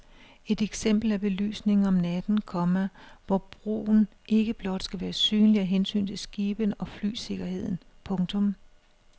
Et eksempel er belysningen om natten, komma hvor broen ikke blot skal være synlig af hensyn til skibene og flysikkerheden. punktum